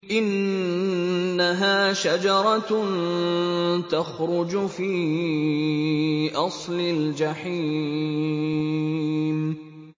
إِنَّهَا شَجَرَةٌ تَخْرُجُ فِي أَصْلِ الْجَحِيمِ